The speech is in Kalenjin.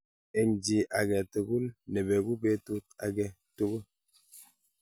Eng chi agetugul nebeku betut age tugul